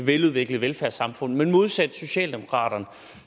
veludviklet velfærdssamfund men modsat socialdemokraterne